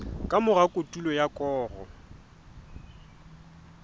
ka mora kotulo ya koro